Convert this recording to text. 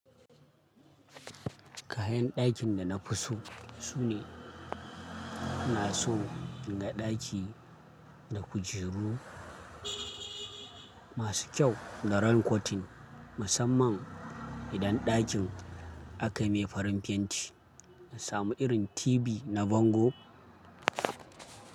Kayan ɗakin da na fi so sune, na so inga ɗaki da kujeru masu kyau da rankotin. Musamman idan ɗakin aka mai farin fenti, na samu irin TV na Vango.